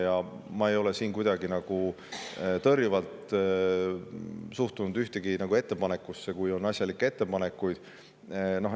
Ja ma ei ole siin kuidagi tõrjuvalt suhtunud ühessegi ettepanekusse, kui on tehtud asjalikke ettepanekuid.